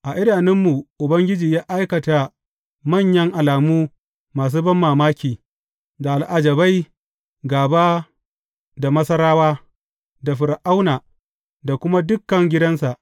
A idanunmu Ubangiji ya aikata manyan alamu masu banmamaki, da al’ajabai gāba da Masarawa, da Fir’auna, da kuma dukan gidansa.